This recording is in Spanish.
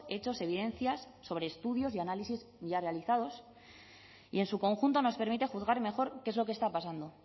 hechos evidencias sobre estudios y análisis ya realizados y en su conjunto nos permite juzgar mejor qué es lo que está pasando